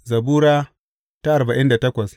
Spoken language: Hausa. Zabura Sura arba'in da takwas